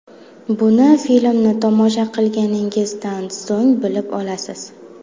Buni filmni tomosha qilganingizdan so‘ng bilib olasiz.